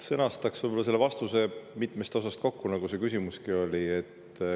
Sõnastaks vastuse võib-olla nii, et see koosneb mitmest osast, nagu küsimuski oli.